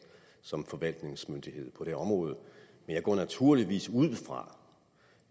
som forvaltningsmyndighed på det område jeg går naturligvis ud fra